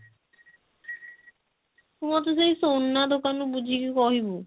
ତୁ ମୋତେ ସେଇ ସୁନା ଦୋକାନ ରୁ ବୁଝିକି କହିବୁ।